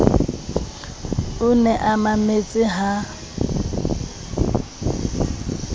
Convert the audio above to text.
o ne a mametse ha